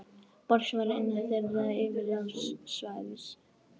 Borg sem var innan þeirra yfirráðasvæðis.